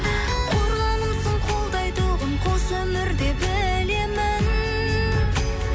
қорғанымсың қолдайтұғын қос өмірде білемін